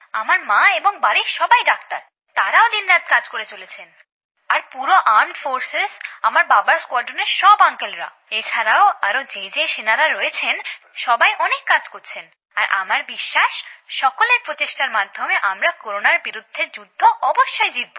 আমার মা এবং বাড়ির বাকি সকলেই ডাক্তার তাঁরাও দিনরাত কাজ করে চলেছেন আর পুরো বিমান বাহিনী আমার বাবার স্কোয়াড্রনের সব কাকুরা এছাড়াও আরো যে সেনারা রয়েছেন সকলেই অনেক কাজ করছেন আর আমার বিশ্বাস সকলের প্রচেষ্টার মাধ্যমে আমরা করোনার বিরুদ্ধে যুদ্ধ অবশ্যই জিতবো